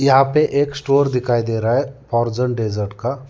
यहां पर एक स्टोर दिखाई दे रहा है अर्जेंट डेजर्ट का।